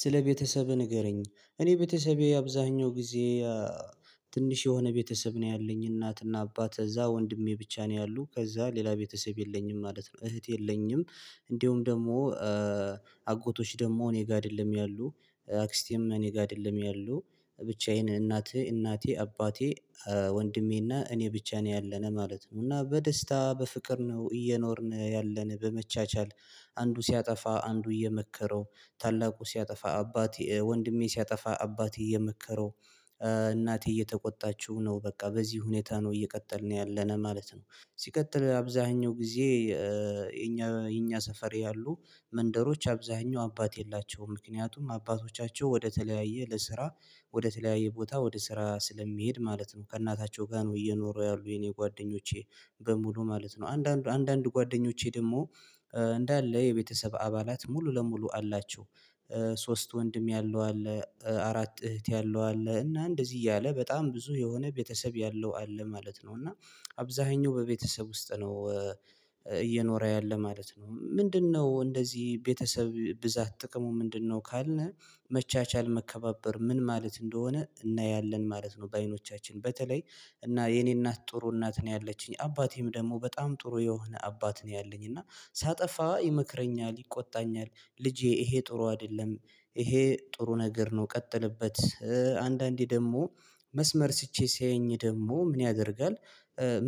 ስለ ቤተሰብህ ንገረኝ እኔ ቤተሰቤ አብዛኛው ጊዜ ትንሽ የሆነ ቤተሰብ ነው ያለኝ እናትና አባት እዛ ወንድሜ ብቻ ነው ያሉት ከዛ ሌላ ቤተሰብ የለኝም ማለት ነው። እህት የለኝም እንዲሁም ደግሞ አጎቶች ደግሞ እኔ ጋር አይደለም ያሉ አክስቴም እኔ ጋር አይደለም ያሉ ብቻዬን እናቴ እናቴ አባቴ ወንድሜና እኔ ብቻ ነው ያለነው ማለት ነው። እና በደስታ በፍቅር ነው እየኖርን ያለን በመቻቻል አንዱ ሲያጠፋ አንዱ እየመከረው ታላቁ ሲያጠፋ አባቴ ወንድሜ ሲያጠፋ አባቴ እየመከረው እናቴ እየተቆጣችው ነው በቃ በዚህ ሁኔታ ነው እየቀጠልን ያለነ ማለት ነው። ሲቀጥል አብዛኛው ጊዜ የኛ የኛ ሰፈር ያሉ መንደሮች አብዛኛው አባት የላቸውም። ምክንያቱም አባቶቻቸው ወደተለያየ ለስራ ወደተለያየ ቦታ ወደ ስራ ስለሚሄድ ማለት ነው ከእናታቸው ጋር ነው እየኖሩ ያሉ የኔ ጓደኞቼ። በሙሉ ማለት ነው አንዳንድ አንዳንድ ጓደኞቼ ደግሞ እንዳለ የቤተሰብ አባላት ሙሉ ለሙሉ አላቸው። ሶስት ወንድም ያለው አለ አራት እህት ያለው አለ እና እንደዚህ እያለ በጣም ብዙ የሆነ ቤተሰብ ያለው አለ ማለት ነው። እና አብዛኛው በቤተሰብ ውስጥ ነው እየኖረ ያለ ማለት ነው። ምንድነው? እንደዚህ ቤተሰብ ብዛት ጥቅሙ ምንድነው? ካልነ መቻቻል መከባበር ምን ማለት እንደሆነ እና ያለን ማለት ነው። በአይኖቻችን በተለይ እና የኔ እናት ጥሩ እናት ነው ያለችኝ አባቴም ደግሞ በጣም ጥሩ የሆነ አባት ነው ያለኝ እና ሳጠፋ ይመክረኛል ይቆጣኛል ልጄ ይሄ ጥሩ አይደለም ይሄ ጥሩ ነገር ነው። ቀጥልበት አንዳንዴ ደግሞ መስመር ስቼ ሲያየኝ ደግሞ ምን ያደርጋል?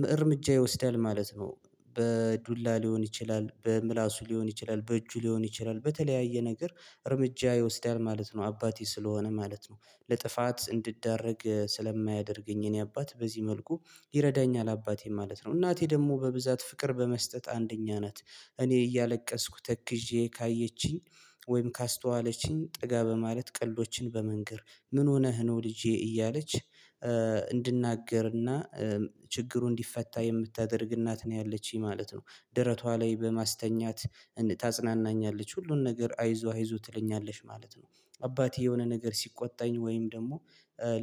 ም እርምጃ ይወስዳል ማለት ነው። በዱላ ሊሆን ይችላል በምላሱ ሊሆን ይችላል በእጁ ሊሆን ይችላል በተለያየ ነገር እርምጃ ይወስዳል ማለት ነው። አባቴ ስለሆነ ማለት ነው ለጥፋት እንድዳረግ ስለማያደርገኝ የእኔ አባት በዚህ መልኩ ይረዳኛል አባቴ ማለት ነው። እናቴ ደግሞ በብዛት ፍቅር በመስጠት አንደኛ ናት እኔ እያለቀስኩ ተክዤ ካየችኝ ወይም ካስተዋለችኝ ጠጋ በማለት ቀልዶችን በመንገር ምን ሆነህ ነው ልጄ እያለች እንድናገርና ችግሩ እንዲፈታ የምታደርግ እናት ነው ያለችኝ ማለት ነው። ደረቷ ላይ በማስተኛት እን ታጽናናኛለች ሁሉን ነገር አይዞህ አይዞህ ትለኛለች ማለት ነው። አባቴ የሆነ ነገር ሲቆጣኝ ወይም ደግሞ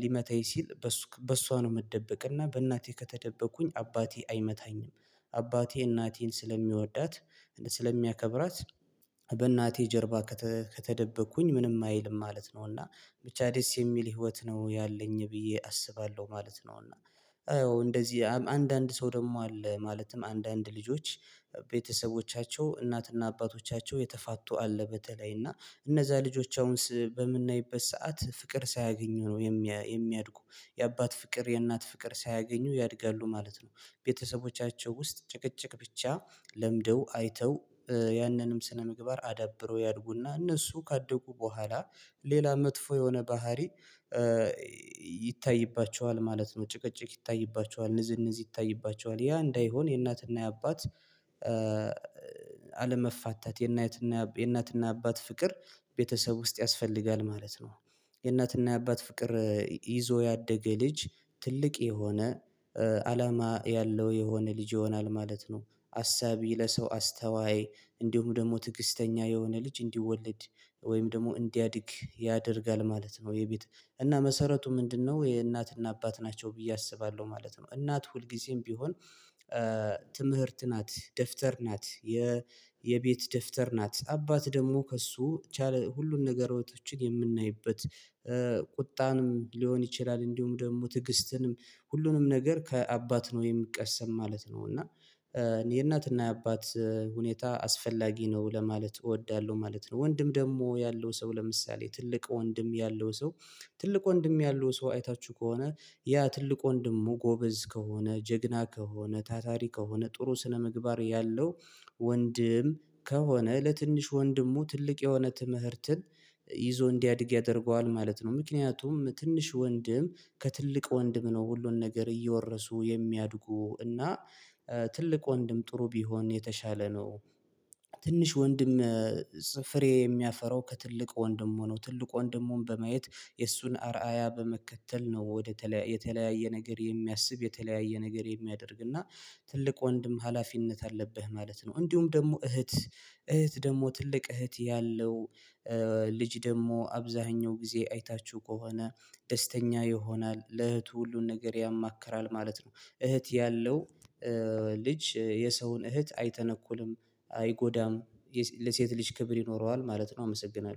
ሊመታኝ ሲል በእሱክ በእሷ ነው የምደብቅ እና በእናቴ ከተደበቅኩኝ አባቴ አይመታኝም። አባቴ እናቴን ስለሚወዳት ስለሚያከብራት በእናቴ ጀርባ ከተደበቅኩኝ ምንም አይልም ማለት ነው። እና ብቻ ደስ የሚል ህይወት ነው ያለኝ ብዬ አስባለሁ ማለት ነው። እና አዎ እነደዚህ አንዳንድ ሰው ደግሞ አለ ማለትም አንዳንድ ልጆች ቤተሰቦቻቸው እናትና አባቶቻቸው የተፋቱ አለ በተለይ እና እነዛ ልጆች አሁንስ በምናይበት ሰዓት ፍቅር ሳያገኙ ነው የሚ የሚያድጉ የአባት ፍቅር የእናት ፍቅር ሳያገኙ ያድጋሉ ማለት ነው። ቤተሰቦቻቸው ውስጥ ጭቅጭቅ ብቻ ለምደው አይተው ያንንም ስነምግባር አዳብረው ያድጉና እነሱ ካደጉ በኋላ ሌላ መጥፎ የሆነ ባህሪ ይታይባቸዋል ማለት ነው። ጭቅጭቅ ይታይባቸዋል ንዝንዝ ይታይባቸዋል ያ እንዳይሆን የእናትና የአባት አለመፋታት የእናትና የአብ የእናትና የአባት ፍቅር ቤተሰብ ውስጥ ያስፈልጋል ማለት ነው። የእናትና የአባት ፍቅር ይዞ ያደገ ልጅ ትልቅ የሆነ አላማ ያለው የሆነ ልጅ ይሆናል ማለት ነው። አሳቢ ለሰው አስተዋይ እንዲሁ ደግሞ ትግስተኛ የሆነ ልጅ እንዲወለድ ወይም ደግሞ እንዲያድግ ያደርጋል ማለት ነው። የቤት እና መሰረቱ ምንድነው የእናትና አባት ናቸው ብዬ አስባለሁ ማለት ነው። እናት ሁልጊዜም ቢሆን ትምህርት ናት ደብተር ናት የ የቤት ደብተር ናት አባት ደግሞ ከእሱ ቻለ ሁሉን ነገሮችን የምናይበት ቁጣንም ሊሆን ይችላል እንዲሁም ደግሞ ትግስትንም ሁሉንም ነገር ከአባት ነው የሚቀሰም ማለት ነው። እና እኔ የእናትና የአባት ሁኔታ አስፈላጊ ነው ለማለት እወዳለሁ ማለት ነው። ወንድም ደግሞ ያለው ሰው ለምሳሌ ትልቅ ወንድም ያለው ሰው ትልቅ ወንድም ያለው ሰው አይታችሁ ከሆነ ያ ትልቅ ወንድሙ ጎበዝ ከሆነ ጀግና ከሆነ ታታሪ ከሆነ ጥሩ ስነምግባር ያለው ወንድም ከሆነ ለትንሽ ወንድሙ ትልቅ የሆነ ትምህርትን ይዞ እንዲያድግ ያደርገዋል ማለት ነው። ምክንያቱም ትንሽ ወንድም ከትልቅ ወንድም ነው ሁሉን ነገር እየወረሱ የሚያድጉ እና ትልቅ ወንድም ጥሩ ቢሆን የተሻለ ነው። ትንሽ ወንድም ጽ ፍሬ የሚያፈራው ከትልቅ ወንድሙ ነው ትልቅ ወንድሙን በማየት የእሱን አርአያ በመከተል ነው ወደ ተለ የተለያየ ነገር የሚያስብ የተለያየ ነገር የሚያደርግ እና ትልቅ ወንድም ሀላፊነት አለብህ ማለት ነው። እንዲሁም ደግሞ እህት እህት ደግሞ ትልቅ እህት ያለው ልጅ ደግሞ አብዛኛው ጊዜ አይታችሁ ከሆነ ደስተኛ ይሆናል ለእህቱ ሁሉን ነገር ያማክራል ማለት ነው። እህት ያለው ልጅ የሰውን እህት አይተነኩልም አይጎዳም የሴ ለሴት ልጅ ክብር ይኖረዋል ማለት ነው። አመሰግናለሁ